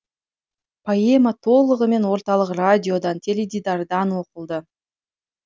поэма толығымен орталық радиодан теледидардан оқылды